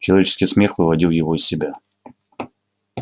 человеческий смех выводил его из себя